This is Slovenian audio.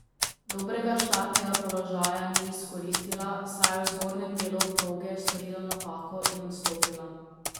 Dobrega štartnega položaja ni izkoristila, saj je v zgornjem delu proge storila napako in odstopila.